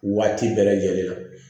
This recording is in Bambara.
Waati bɛɛ lajɛlen na